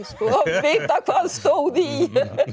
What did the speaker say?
vita hvað stóð í